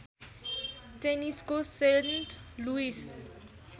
टेनिसको Saint Louis